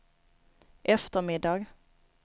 eftermiddag